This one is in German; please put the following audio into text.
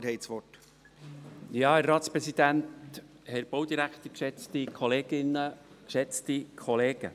Geschäft 2018.RRGR.706:Annahme und gleichzeitige Abschreibung.